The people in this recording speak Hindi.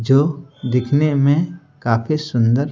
जो दिखने मेंकाफी सुंदर--